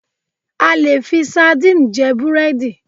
A leè fi Sandine jé búrẹ́dì